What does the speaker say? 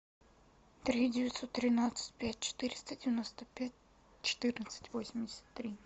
три девятьсот тринадцать пять четыреста девяносто пять четырнадцать восемьдесят три